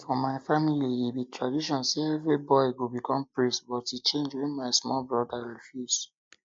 for my family e be tradition say every boy go become priest but e change wen my small broda refuse